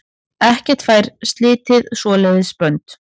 Ekkert fær slitið svoleiðis bönd.